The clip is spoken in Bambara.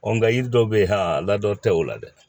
nka yiri dɔw be yen a ladon tɛ o la dɛ